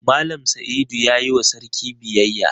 Mallam Saidu ya yi wa sarki biyayya.